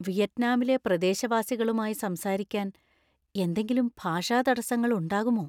വിയറ്റ്നാമിലെ പ്രദേശവാസികളുമായി സംസാരിക്കാൻ എന്തെങ്കിലും ഭാഷാ തടസ്സങ്ങൾ ഉണ്ടാകുമോ?